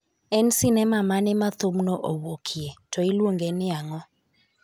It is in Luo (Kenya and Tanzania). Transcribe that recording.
En sinema mane ma thumno owuokie, to iluonge ni ang'o?